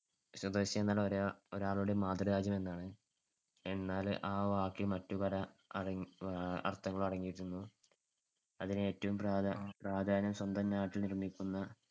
സ്വദേശിയെന്നാൽ ഒരാ~ ഒരാളുടെ മാതൃരാജ്യമെന്നാണ്. എന്നാൽ ആ വാക്കിൽ മറ്റു പല അട~ അഹ് അർത്ഥങ്ങൾ അടങ്ങിയിട്ടുണ്ട്. അതിനു ഏറ്റവും പ്രാധാ~ പ്രാധാന്യം സ്വന്തം നാട്ടിൽ നിർമ്മിക്കുന്ന